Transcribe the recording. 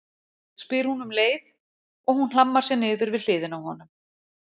spyr hún um leið og hún hlammar sér niður við hliðina á honum.